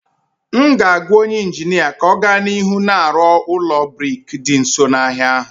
M ga-agwa onye injinia ka ọ gaa n'ihu na-arụ ụlọ brik dị nso n'ahịa ahụ